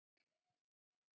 Það er margt baslið.